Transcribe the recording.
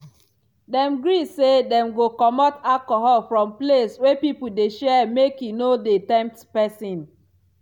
dem gree say dem go comot alcohol from place wey people dey share make e no dey tempt pesin.